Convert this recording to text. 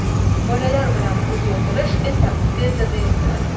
Bolalar bilan uyda o‘tirish esa tezda zeriktiradi.